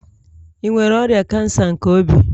Ị nwere ọrịa kansa nke obi?